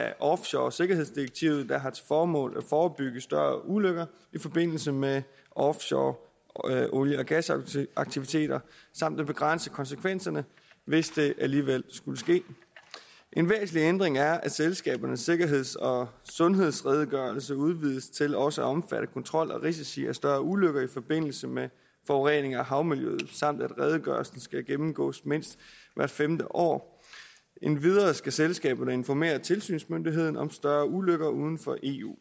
af offshoresikkerhedsdirektivet der har til formål at forebygge større ulykker i forbindelse med offshore olie og gasaktiviteter samt at begrænse konsekvenserne hvis det alligevel skulle ske en væsentlig ændring er at selskabernes sikkerheds og sundhedsredegørelse udvides til også at omfatte kontrol af risici for større ulykker i forbindelse med forurening af havmiljøet samt at redegørelsen skal gennemgås mindst hvert femte år endvidere skal selskaberne informere tilsynsmyndigheden om større ulykker uden for eu